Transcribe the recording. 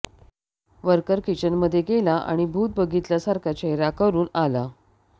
worker किचनमधे गेला आणि भूत बघितल्यासारखा चेहरा करून आला